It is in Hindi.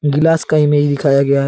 ग्लास का इमेज दिखाया गया है।